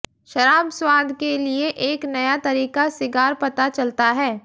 शराब स्वाद के लिए एक नया तरीका सिगार पता चलता है